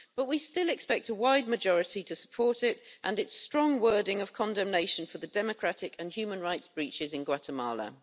But we still expect a wide majority to support it and its strong wording of condemnation for democratic and human rights breaches in Guatemala.